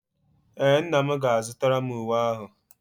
Ee, nna m ga-azụtara m uwe ahu